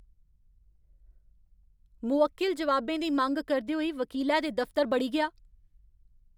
मुवक्किल जवाबें दी मंग करदे होई वकीलै दे दफतर बड़ी गेआ!